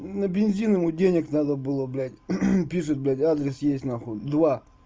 на бензин ему денег надо было блять пишет блять адрес есть нахуй два